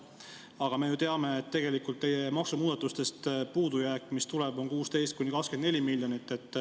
Aga me ju teame, et tegelikult puudujääk, mis tuleb teie maksumuudatustest, on 16–24 miljonit.